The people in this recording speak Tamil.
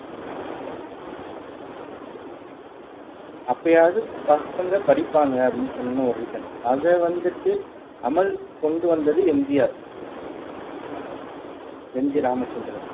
அப்பயாவது பசங்க படிப்பாங்க அப்படின்னு சொன்ன ஒரு reason அத வந்துட்டு அமல் கொண்டு வந்தது M G R M G Ramachandran